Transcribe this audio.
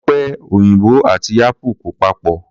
Ọ̀pẹ òyìnbò àti apple kò papọ̀